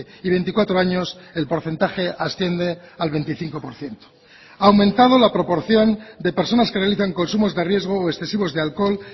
y veinticuatro años el porcentaje asciende al veinticinco por ciento ha aumentado la proporción de personas que realizan consumos de riesgo o excesivos de alcohol